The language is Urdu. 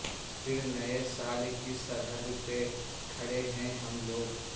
پھر نئے سال کی سرحد پہ کھڑے ہیں ہم لوگ